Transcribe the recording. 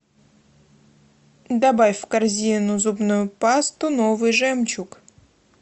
добавь в корзину зубную пасту новый жемчуг